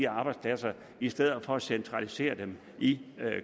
arbejdspladserne i stedet for at centralisere dem i